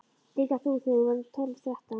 Líka þú þegar þú verður tólf, þrettán.